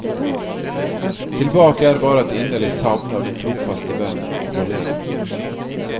Tilbake er bare et inderlig savn av den trofaste venn og kollega.